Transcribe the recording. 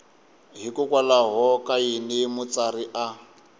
hikokwalaho ka yini mutsari a